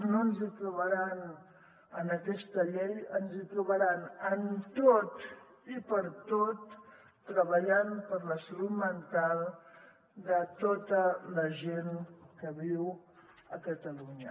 no ens hi trobaran en aquesta llei ens trobaran en tot i pertot treballant per la salut mental de tota la gent que viu a catalunya